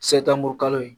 kalo in